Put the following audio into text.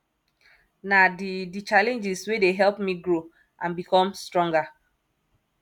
na di di challenges wey dey help me grow and become stronger